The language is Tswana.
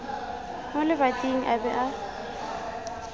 mo lebating a be a